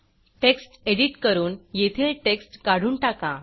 text edit करून येथील text काढून टाका